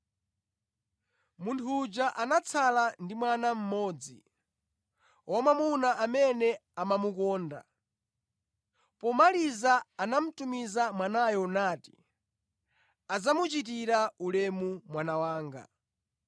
“Munthu uja anatsala ndi mwana mmodzi, wamwamuna amene amamukonda. Pomaliza anamutumiza mwanayo nati, ‘Adzamuchitira ulemu mwana wanga.’